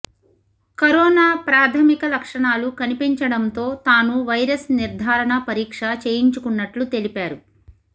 corona ప్రాథమిక లక్షణాలు కనిపించడంతో తాను వైరస్ నిర్ధారణ పరీక్ష చేయించుకున్నట్లు తెలిపారు